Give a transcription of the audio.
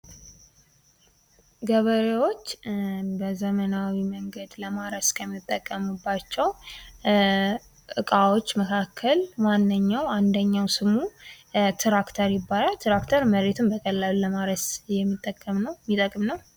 ገበሬዎች በዘመናዊ መንገድ ለማረስ ከሚጠቀሙባቸው እቃወች መካከል ዋነኛው አንደኛው ስሙ ትራክተር ይባላል ። ትራክተር መሬትን በቀላሉ ለማረስ የሚጠቅም ነው ።